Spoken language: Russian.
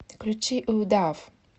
включи у дав